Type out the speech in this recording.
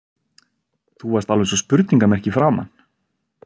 Þú varst alveg eins og spurningarmerki í framan.